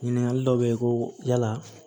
Ɲininkali dɔ bɛ ye ko yala